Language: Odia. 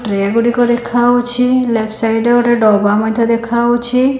ଟ୍ରେ ଗୁଡ଼ିକ ଦେଖାହଉଛି ଲେପଟ୍ ସାଇଟ୍ ରେ ଗୋଟେ ଡବା ମଧ୍ୟ ଦେଖାହଉଛି।